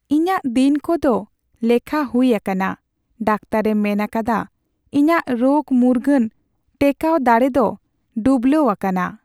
ᱤᱧᱟᱜ ᱫᱤᱱᱠᱚ ᱫᱚ ᱞᱮᱠᱷᱟ ᱦᱩᱭ ᱟᱠᱟᱱᱟ ᱾ ᱰᱟᱠᱛᱟᱨᱼᱮ ᱢᱮᱱ ᱟᱠᱟᱫᱟ ᱤᱧᱟᱜ ᱨᱳᱜ ᱢᱩᱨᱜᱟᱹᱱ ᱴᱮᱠᱟᱣ ᱫᱟᱲᱮ ᱫᱚ ᱰᱩᱵᱞᱟᱹᱣ ᱟᱠᱟᱱᱟ ᱾